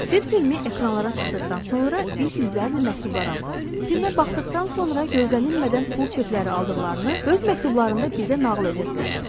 Sirlər filmi ekranlara çıxdıqdan sonra biz yüzlərlə məktublar aldıq, filmə baxdıqdan sonra gözlənilmədən pul çekləri aldıqlarını öz məktublarında bizə nağıl edirdilər.